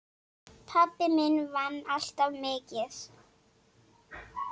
Pabbi minn vann alltaf mikið.